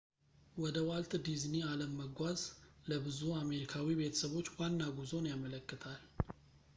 ወደ ዋልት ዲዝኒ አለም መጓዝ ለብዙ አሜሪካዊ ቤተሰቦች ዋና ጉዞን ያመለክታል